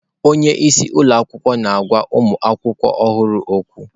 Onye isi ụlọ akwụkwọ na-agwa ụmụ akwụkwọ ọhụrụ okwu.